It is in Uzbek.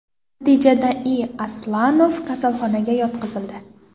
Natijada I. Aslonov kasalxonaga yotqizildi.